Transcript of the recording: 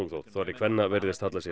þótt þorri kvenna virðist halla sér